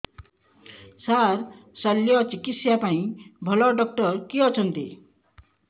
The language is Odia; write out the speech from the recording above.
ସାର ଶଲ୍ୟଚିକିତ୍ସା ପାଇଁ ଭଲ ଡକ୍ଟର କିଏ ଅଛନ୍ତି